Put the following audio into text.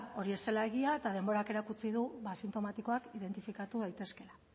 hori ez zela egia eta denborak erakutsi du asintomatikoak identifikatu daitezkeela